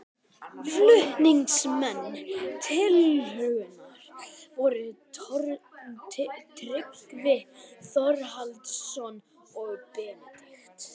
Flutningsmenn tillögunnar voru Tryggvi Þórhallsson og Benedikt